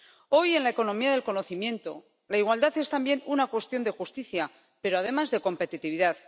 Hoy, en la economía del conocimiento, la igualdad es también una cuestión de justicia, pero, además, de competitividad.